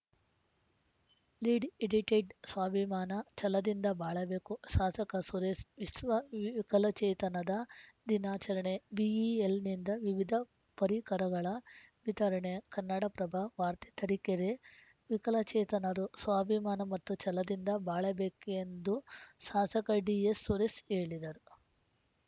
lead edited ಸ್ವಾಭಿಮಾನ ಛಲದಿಂದ ಬಾಳಬೇಕು ಸಾಸಕ ಸುರೇಸ್ ವಿಶ್ವ ವಿಕಲಚೇತನದ ದಿನಾಚರಣೆ ಬಿಇಎಲ್‌ನಿಂದ ವಿವಿಧ ಪರಿಕರಗಳ ವಿತರಣೆ ಕನ್ನಡಪ್ರಭ ವಾರ್ತೆ ತರೀಕೆರೆ ವಿಕಲಚೇತನರು ಸ್ವಾಭಿಮಾನ ಮತ್ತು ಛಲದಿಂದ ಬಾಳಬೇಕೆಂದು ಸಾಸಕ ಡಿಎಸ್‌ ಸುರೇಸ್ ಹೇಳಿದರು